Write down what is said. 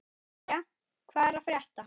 Jæja, hvað er að frétta?